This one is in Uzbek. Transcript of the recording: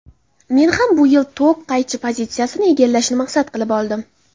Men ham bu yil tok qaychi pozitsiyasini egallashni maqsad qilib oldim.